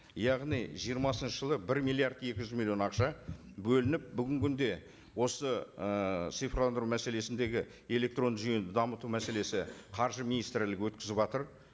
яғни жиырмасыншы жылы бір миллиард екі жүз миллион ақша бөлініп бүгінгі күнде осы ыыы цифрландыру мәселесіндегі электронды жүйені дамыту мәселесі қаржы министрлігі өткізіватыр